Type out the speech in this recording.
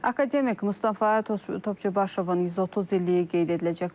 Akademik Mustafa Topçubaşovun 130 illiyi qeyd ediləcək.